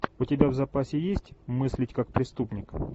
у тебя в запасе есть мыслить как преступник